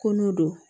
Ko n'o don